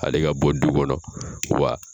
Hale ka bɔ du kɔnɔ wa